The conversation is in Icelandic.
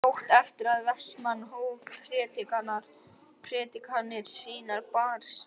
Fljótt eftir að Vestmann hóf predikanir sínar barst Jóni